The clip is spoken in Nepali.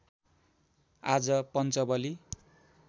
आज पन्चबली